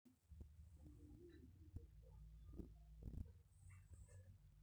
kayieu nalak ena hoteli nkewarieitin imiet amu kaata training naasita